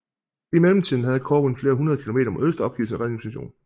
I mellemtiden havde Corwin flere hundrede kilometer mod øst opgivet sin redningsmission